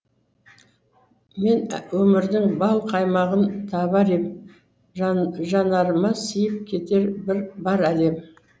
мен өмірдің бал қаймағын табар ем жанарыма сыйып кетер бар әлем